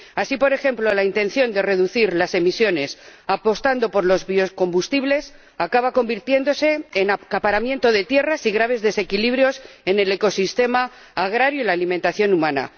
Así, por ejemplo, la intención de reducir las emisiones apostando por los biocombustibles acaba convirtiéndose en acaparamiento de tierras y graves desequilibrios en el ecosistema agrario y la alimentación humana.